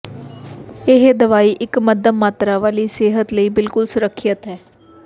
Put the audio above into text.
ਇਹ ਦਵਾਈ ਇਕ ਮੱਧਮ ਮਾਤਰਾ ਵਾਲੀ ਸਿਹਤ ਲਈ ਬਿਲਕੁਲ ਸੁਰੱਖਿਅਤ ਹੈ